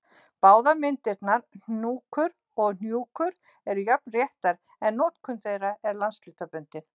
Báðar myndirnar, hnúkur og hnjúkur, eru jafn réttar en notkun þeirra er landshlutabundin.